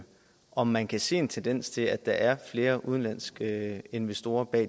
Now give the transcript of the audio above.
om man kan se en tendens til at der er flere udenlandske investorer